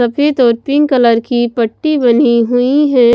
सफेद और pink colour की पट्टी बनी हुई है।